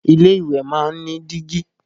Ilé ìwẹ̀ máa ń ní dígí